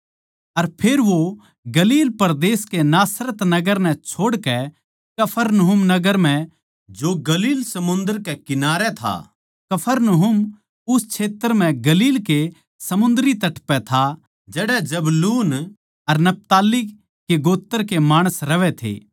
अर फेर वो गलील परदेस के नासरत नगर नै छोड़कै कफरनहूम नगर म्ह जो गलील समुन्दर कै कन्ठारे था जबूलून अर नप्ताली जात्ति कै माणसां म्ह ज्याकै रहण लाग्या